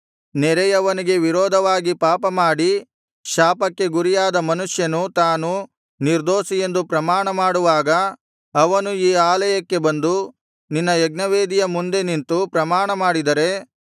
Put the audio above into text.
ನೆರೆಯವನಿಗೆ ವಿರೋಧವಾಗಿ ಪಾಪ ಮಾಡಿ ಶಾಪಕ್ಕೆ ಗುರಿಯಾದ ಮನುಷ್ಯನು ತಾನು ನಿರ್ದೋಷಿಯೆಂದು ಪ್ರಮಾಣ ಮಾಡುವಾಗ ಅವನು ಈ ಆಲಯಕ್ಕೆ ಬಂದು ನಿನ್ನ ಯಜ್ಞವೇದಿಯ ಮುಂದೆ ನಿಂತು ಪ್ರಮಾಣ ಮಾಡಿದರೆ